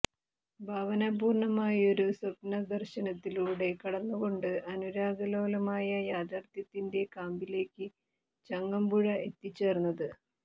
ഭാവനാപൂര്ണ്ണമായൊരു സ്വപ്ന ദര്ശനത്തിലൂടെ കടന്നുകൊണ്ടാണ് അനുരാഗലോലമായ യാഥാര്ഥ്യത്തിന്റെ കാമ്പിലേക്ക് ചങ്ങമ്പുഴ എത്തിച്ചേര്ന്നത്